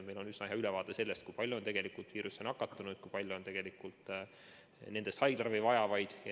Meil on üsna hea ülevaade sellest, kui palju on tegelikult viirusesse nakatunuid ja kui palju on nendest haiglaravi vajavaid.